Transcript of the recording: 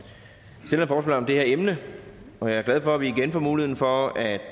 det her emne og jeg er glad for at vi igen får mulighed for at